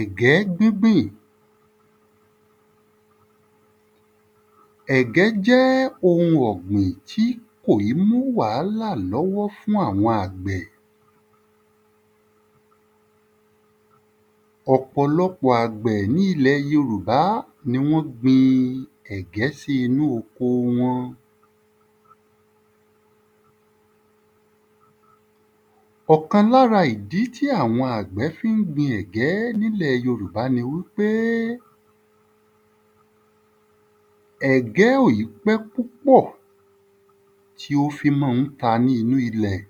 Ẹ̀gẹ́ gbígbìn Ẹ̀gẹ́ jẹ́ ohun ọ̀gbìn tí kò í mú wàhálà l’ọ́wọ́ fún àwọn àgbẹ̀. Ọ̀pọ̀lọpọ̀ àgbẹ̀ ní ilẹ̀ yorùbá ni wọ́n gbin ẹ̀gẹ́ sí inú oko wọn. Ọ̀kan l’ára ìdí tí àwọn àgbẹ̀ fín gbin ẹ̀gẹ́ n’ílẹ̀ yorùbá ni wí pé ẹ̀gẹ́ ò ì pẹ́ púpọ̀ tí ó fí má ń ta ni inú ilẹ̀.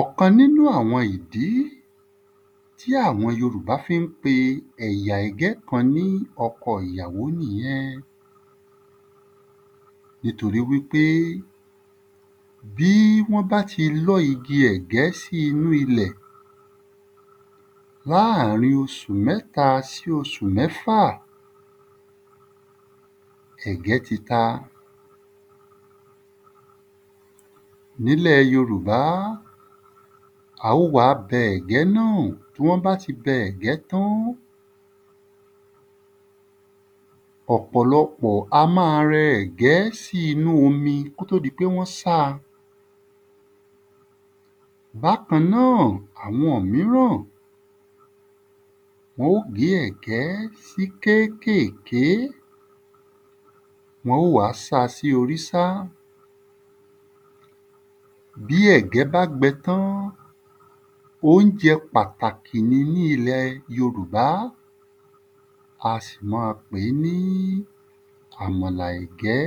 Ọ̀kan n’ínú àwọn ìdí tí àwọn yorùbá fi ń pe ẹ̀yà ẹ̀gẹ́ kan ní ọkọ ìyàwó nìyẹn. nítorí wí pé bí wọ́n bá ti lọ́ igi ẹ̀gẹ́ sí inú ilẹ̀ láàrin oṣù mẹ́ta sí oṣù mẹ́fà, ẹ̀gẹ́ ti ta. N’ílẹ̀ yorùbá, a ó wá bẹ ẹ̀gẹ́ náà. Tí wọ́n bá ti bẹ ẹ̀gẹ́ tán, ọ̀pọ̀lọpọ̀ a má a rẹ ẹ̀gẹ́ k’ó tó di pé wọ́n sá a. Bákan náà, àwọn míràn wọ́n ó gé ẹ̀gẹ́ sí kékèké. Wọ́n ó wá sa sí orísá Bí ẹ̀gẹ́ bá gbẹ tán, óunjẹ pàtàkì ní ilẹ̀ yorùbá A sì ma pé ní àmàlà ẹ̀gẹ́.